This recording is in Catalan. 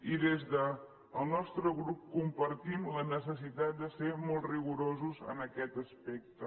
i des del nostre grup compartim la necessitat de ser molt rigorosos en aquest aspecte